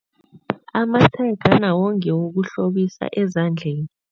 Amatshega nawo ngewokuhlobisa ezandeni.